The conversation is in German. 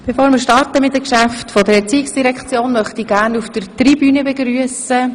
– Bevor wir fortfahren, möchte ich gerne unsere Besucher auf der Tribüne begrüssen.